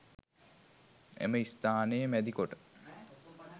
එම ස්ථානය මැදිකොට